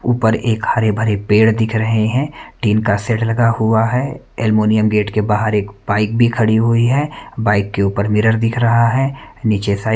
ऊपर एक हरे भरे पेड़ दिख रहे हैं तीन का सेट लगा हुआ है अलमुनियम गेट के बाहर एक बाइक भी खड़ी हुई है बाइक के ऊपर मिरर दिख रहा है नीचे साइड --